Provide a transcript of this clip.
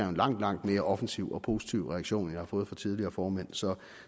en langt langt mere offensiv og positiv reaktion end jeg har fået fra tidligere formænd så